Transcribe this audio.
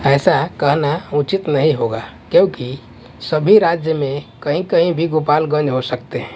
ऐसा कहना उचित नहीं होगा क्योंकि सभी राज्य में कहीं कहीं भी गोपालगंज हो सकते हैं।